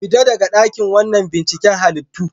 Fita daga wannan dakin binciken halittu.